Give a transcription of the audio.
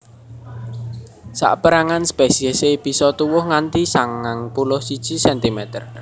Sapérangan spesiesé bisa tuwuh nganti sangang puluh siji centimeter